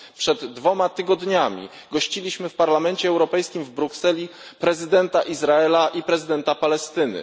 Przed dwoma tygodniami gościliśmy w Parlamencie Europejskim w Brukseli prezydenta Izraela i prezydenta Palestyny.